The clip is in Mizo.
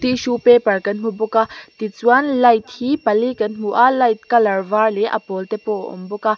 tissue paper kan hmu bawk a tichuan light hi pali kan hmu a light colour var leh a pawlte pawh a awm bawk a.